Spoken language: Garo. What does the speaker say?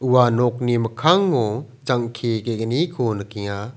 ua nokni mikkango jang·ke ge·gniko nikenga.